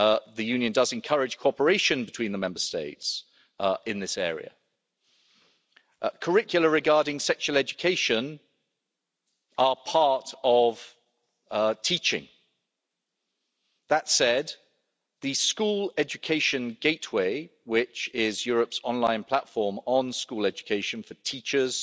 the Union does encourage cooperation between the Member States in this area. Curricula regarding sexual education are part of teaching. That said, the School Education Gateway which is Europe's online platform on school education for teachers,